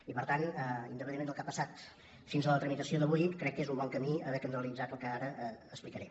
i per tant independentment del que ha passat fins a la tramitació d’avui crec que és un bon camí haver calendaritzat el que ara explicaré